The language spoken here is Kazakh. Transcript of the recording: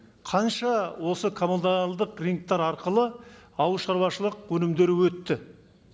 қанша осы коммуналдық рыноктар арқылы ауыл шаруашылық өнімдері өтті